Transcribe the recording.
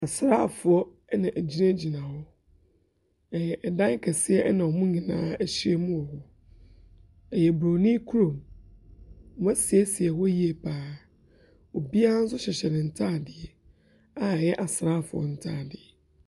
Asrafoɔ ɛna egyinagyina hɔ. Ɛyɛ ɛdan kɛseɛ ɛna ɔmo nyinaa ehyiemu. Ɛyɛ boroni kurom, ɔmo esiesie hɔ yie paa. Obia so hyehyɛ ne ntaadeɛ a ɛyɛ asrafoɔ ntaadeɛ.